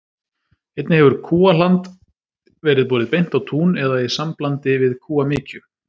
Einnig hefur kúahland verið borið beint á tún eða í samblandi við kúamykju.